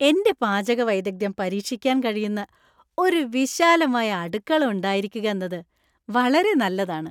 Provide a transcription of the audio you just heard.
എന്റെ പാചക വൈദഗ്ദ്ധ്യം പരീക്ഷിക്കാൻ കഴിയുന്ന ഒരു വിശാലമായ അടുക്കള ഉണ്ടായിരിക്കുകന്നത് വളരെ നല്ലതാണ്.